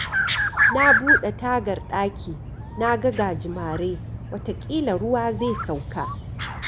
Na buɗe tagar daki, na ga gajimare, wataƙila ruwa zai sauƙa.